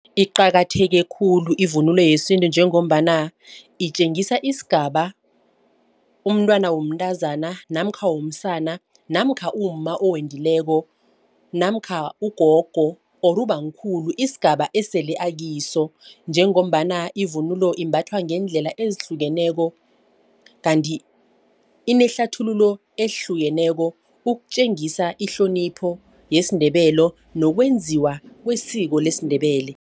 Iqakatheke khulu ivunulo yesintu njengombana itjengisa isigaba umntwana womntazana namkha womsana namkha umma owendileko namkha ugogo or ubamkhulu isigaba esele akiso. Njengombana ivunulo imbathwa ngeendlela ezihlukeneko. Kanti inehlathululo ehlukeneko ukutjengisa ihlonipho yesiNdebele nokwenziwa kwesiko lesiNdebele.